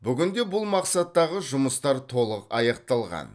бүгінде бұл мақсаттағы жұмыстар толық аяқталған